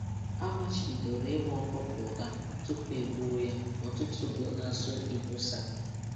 A machibidoro ị ma ọkụkọ ụra ma ọkụkọ ụra tupu e gbuo ya n'ọtụtụ obodo na-asụ ibosa.